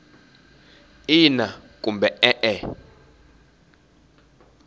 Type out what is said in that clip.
ina kumbe e e